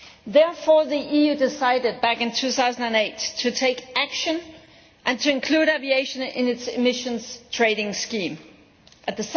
Therefore, the EU decided back in 2008 to take action and to include aviation in its emissions trading scheme At